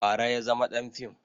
Bara ya zama ɗan fim